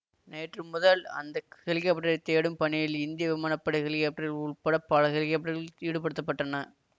நேற்று முதல் அந்த ஹெலிகாப்டரைத் தேடும் பணியில் இந்திய விமான படை ஹெலிகாப்டர்கள் உள்பட பல ஹெலிகாப்டர்கள் ஈடுபடுத்தப்பட்டன